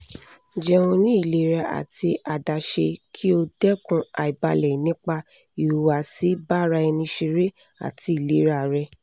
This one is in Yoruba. jeun ni ilera ati adaṣe ki o dẹkun aibalẹ nipa ihuwasi baraenisere ati ilera rẹ